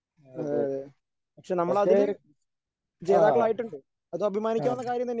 അതേ പക്ഷേ ആ ആ